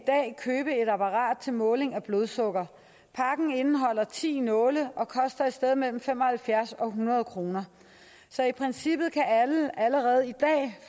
købe et apparat til måling af blodsukker pakken indeholder ti nåle og koster et sted mellem fem og halvfjerds og hundrede kroner så i princippet kan alle allerede i dag